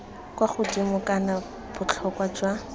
kwa godimo kana botlhokwa jwa